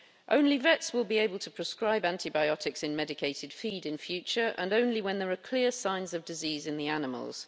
Only vets will be able to prescribe antibiotics in medicated feed in future, and only when there are clear signs of disease in the animals.